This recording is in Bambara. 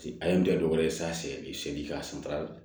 A ye n dɛmɛ dɔ wɛrɛ san seegin ka santara